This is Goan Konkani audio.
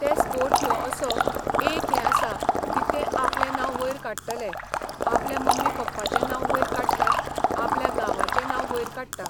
ते स्पोट ह्यो असो एक हें आसा की ते आपलें नांव वयर काडटले, आपल्या मम्मी पप्पाचें नांव वयर काडटा, आपल्या गांवांचें नांव वयर काडटा.